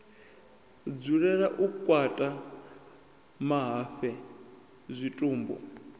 dzulela u kakata mahafhe zwitumbu